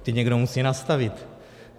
Ty někdo musí nastavit.